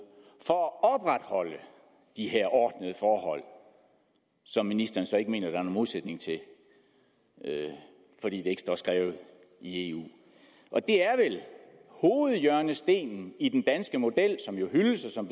for at opretholde de her ordnede forhold som ministeren så ikke mener der er nogen modsætning til fordi det ikke står skrevet i eu hovedhjørnestenen i den danske model som hyldes og som